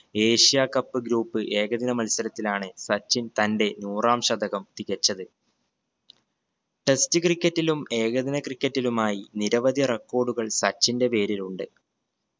Asia cup group ഏകദിന മത്സരത്തിലാണ് സച്ചിൻ തന്റെ നൂറാം ശതകം തികച്ചത് test cricket ലും ഏകദിന cricket ലുമായി നിരവധി record കൾ സച്ചിന്റെ പേരിലുണ്ട്